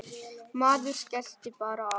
Maður skellti bara á.